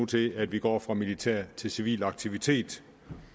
til at vi går fra militær til civil aktivitet